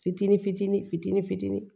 Fitinin fitinin fitinin fitinin